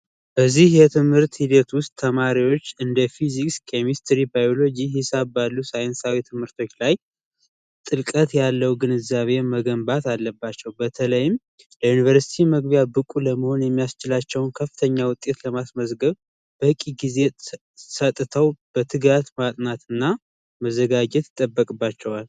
በዚህ የትምህርት ሂደት ውስጥ ተማሪዎች እንደ ፊዚክስ ኬሚስትሪ ባዮሎጂ ሂሳብ ባሉ ሳይንሳዊ ትምህርት ላይ ጥምቀት ያለው ግንዛቤን መገንባት አለባቸው በተለይ ዩንቨርስቲ መግቢያ ብቁ ለመሆን የሚያስችላቸውን ከፍተኛ ውጤት ለማስመዝገብ ጊዜ በትጋት ማጥናትና መዘጋጀት ይጠበቅባቸዋል።